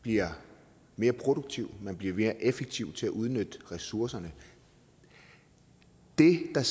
bliver mere produktiv at man bliver mere effektiv i forhold til at udnytte ressourcerne det der